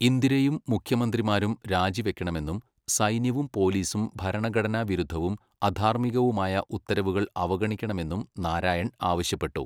ഇന്ദിരയും മുഖ്യമന്ത്രിമാരും രാജിവെക്കണമെന്നും സൈന്യവും പോലീസും ഭരണഘടനാ വിരുദ്ധവും അധാർമികവുമായ ഉത്തരവുകൾ അവഗണിക്കണമെന്നും നാരായൺ ആവശ്യപ്പെട്ടു.